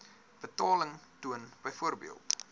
betaling toon byvoorbeeld